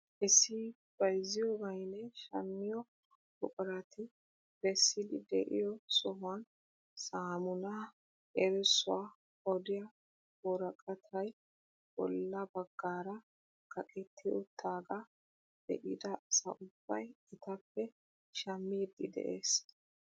Issi bayzziyoobaynne shammiyoo buqurati bessidi de'iyoo sohuwaan samunaa erissuwaa odiyaa woraqatay bolla baggaara kaqetti uttagaa be'ida asa ubbay etappe shammiidi de'ees.